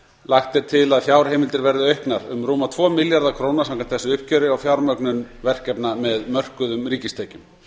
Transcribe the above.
lagt er til að fjár heimildir verði auknar um rúma tvo milljarða króna samkvæmt þessu uppgjöri á fjármögnun verkefna með mörkuðum ríkistekjum